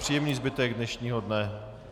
Příjemný zbytek dnešního dne.